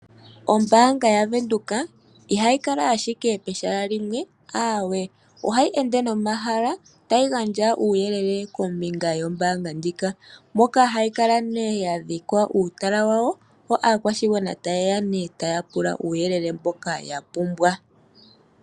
Ombaanga yaVenduka ihayi kala ashike pehala limwe aawe, ohayi ende nomahala tayi gandja uuyelele kombinga yombaanga ndjika, moka hayi kala nee ya dhika uutala wawo, yo aakwashigwana taye ya nee taa pula uuyelele mboka ya pumbwa.